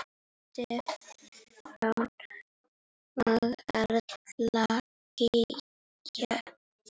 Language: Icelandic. Stefán og Erla Gígja.